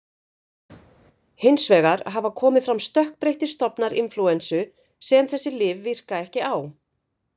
Hins vegar hafa komið fram stökkbreyttir stofnar inflúensu sem þessi lyf virka ekki á.